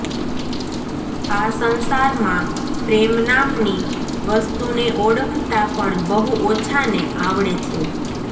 આ સંસારમાં પ્રેમ નામની વસ્તુને ઓળખતાં પણ બહુ ઓછાંને આવડે છે